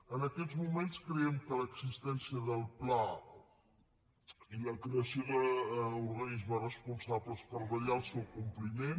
en aquests moments creiem que l’existència del pla i la creació d’organismes responsables per vetllar pel seu compliment